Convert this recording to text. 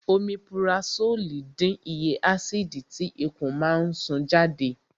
Omipurasólì dín iye ásìdì tí ikùn máa ń sún jáde